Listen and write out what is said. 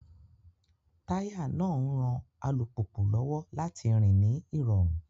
Táyà náà ń ran alùpùpù lọ́wọ́ láti rìn ní ìrọ̀rùn